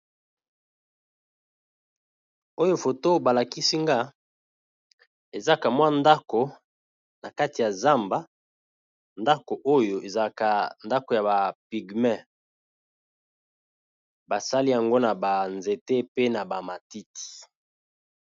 Oyo foto ba lakisi nga eza kamwa ndako na kati ya zamba ndako oyo eza ka ndako ya ba pigme, basali yango na ba nzete pe na ba matiti.